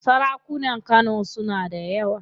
Sarakunan Kano suna da yawa.